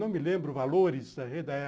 Não me lembro valores da época.